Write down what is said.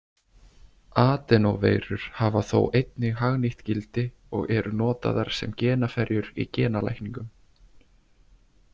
Adenóveirur hafa þó einnig hagnýtt gildi og eru notaðar sem genaferjur í genalækningum.